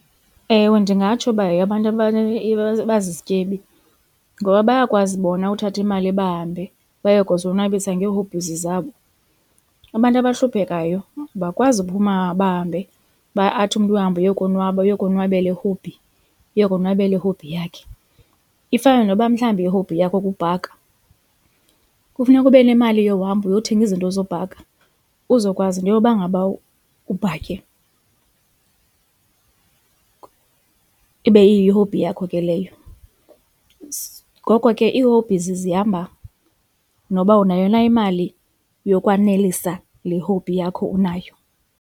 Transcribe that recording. Ewe, ndingatsho uba yeyabantu abazizityebi ngoba bayakwazi bona uthatha imali bahambe baye kuzonwabisa nge-hobbies zabo. Abantu abahluphekayo abakwazi uphuma bahambe uba athi umntu uyahamba uyokonwaba uyokonwabela i-hobby, ukuyonwabela i-hobby yakhe. Ifana noba mhlawumbi i-hobby yakho kukubhaka kufuneka ube nemali yohamba uyothenga izinto zobhanka uzokwazi into yoba ngaba ubhakhe ibe iyihobby yakho ke leyo. Ngoko ke ii-hobbies zihamba noba unayo na imali yokwanelisa le hobby yakho unayo.